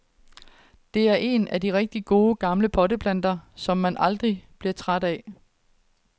Det er en af de rigtig gode, gamle potteplanter, som man aldrig bliver træt af.